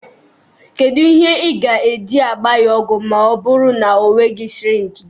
Kedu ihe ị ga-eji gbaa ya ogwụ ma ọ bụrụ na ọ nweghị sịrịnjị dị?